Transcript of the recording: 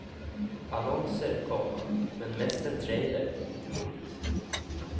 Annonser, komma men mest en trailer. punkt